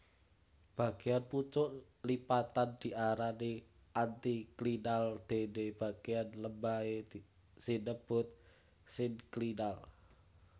Bagéyan pucuk lipatan diarani antiklinal déné bagéyan lembahé sinebut sinklinal